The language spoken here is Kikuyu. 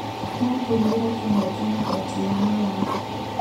No tũgeĩre kĩhoto magoti-inĩ ma watho